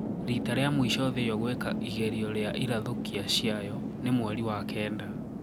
Rĩta rĩa mwisho thĩĩ ĩyo gũeka igerĩo riairathûkiaçĩayo ni mwerĩ wa kenda.